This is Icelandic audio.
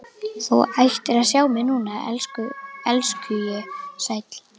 Þú ættir að sjá mig núna, elskhugi sæll.